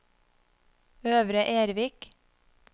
Øvre Ervik